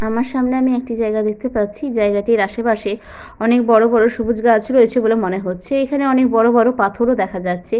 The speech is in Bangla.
আমার সামনে আমি একটি জায়গা দেখতে পাচ্ছি জায়গাটির আশেপাশে অনেক বড়ো বড়ো সবুজ গাছ রয়েছে বলে মনে হচ্ছে। এখানে অনেক বড়ো বড়ো পাথরও দেখা যাচ্ছে।